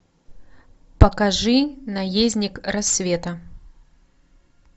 покажи наездник рассвета